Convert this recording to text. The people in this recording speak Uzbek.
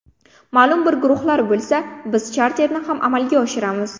Ma’lum bir guruhlar bo‘lsa, biz charterni ham amalga oshiramiz.